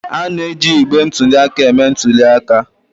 A na-eji igbe ntụli aka eme ntuli aka.